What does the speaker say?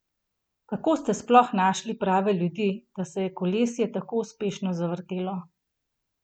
Kako ste sploh našli prave ljudi, da se je kolesje tako uspešno zavrtelo?